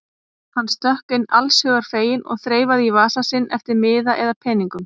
Hann stökk inn allshugar feginn og þreifaði í vasa sinn eftir miða eða peningum.